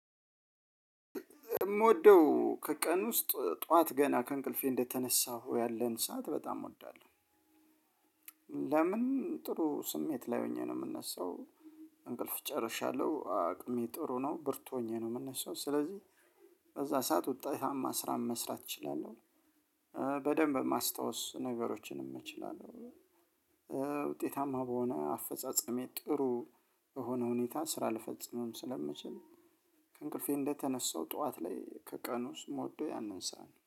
የምወደው ከቀን ውስጥ ጠዋት ገና ከእንቅልፌ እንደተነሳሁ ያለን ሰዓት በጣም እወዳለሁ። ለምን ጥሩ ስሜት ላይ ሆኜ ነው የምነሳው። እንቅልፍ ጨርሻለሁ አቅሜ ጥሩ ነው ብርቱ ሆኜ ነው የምነሳው። ስለዚህ በዛ ሰዓት ውጤታማ ስራን መስራት እችላለሁ። በደንብ ማስታወስ ነገሮችንም እችላለሁ። ውጤታማ በሆነ አፈጻጸሜ ጥሩ በሆነ ሁኔታ ስራ ልፈጽምም ስለምችል ከእንቅልፌ እንደተነሳው ጠዋት ላይ ከቀኑ ውስጥ የምወደ ያንን ሰዓት ነው